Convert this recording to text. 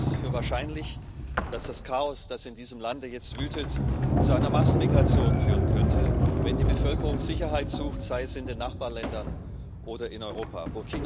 Ich halte es für wahrscheinlich, dass das Chaos, das in diesem Lande jetzt wütet, zu einer Massenmigration führen könnte, wenn die Bevölkerung Sicherheit sucht sei es in den Nachbarländern oder in Europa.